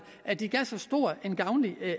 at det gav så stor en gavnlig